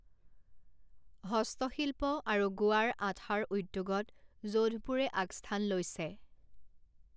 হস্তশিল্প আৰু গুৱাৰ আঠাৰ উদ্যোগত যোধপুৰে আগস্থান লৈছে।